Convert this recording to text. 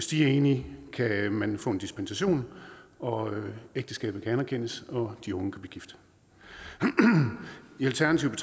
de er enige kan man få en dispensation og ægteskabet kan anerkendes og de unge kan blive gift i alternativet